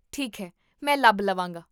ਠੀਕ ਹੈ, ਮੈਂ ਲੱਭ ਲਵਾਂਗਾ